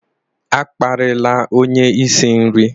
A kparịla onye isi nri!